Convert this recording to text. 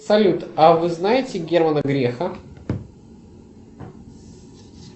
салют а вы знаете германа греха